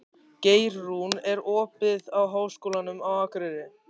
Geirrún, er opið í Háskólanum á Akureyri?